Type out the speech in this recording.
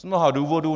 Z mnoha důvodů.